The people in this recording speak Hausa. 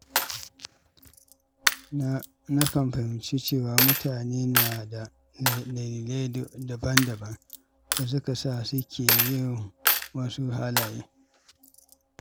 Nakan fahimci cewa mutane na da dalilai daban-daban da suka sa suke yin wasu halaye.